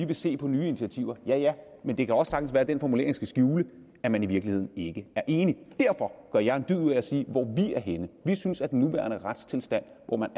vil se på nye initiativer ja ja men det kan også sagtens være at den formulering skal skjule at man i virkeligheden ikke er enige derfor gør jeg en dyd ud af at sige hvor vi er henne vi synes at den nuværende retstilstand hvor man